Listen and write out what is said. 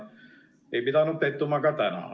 Ei pidanud pettuma ka täna.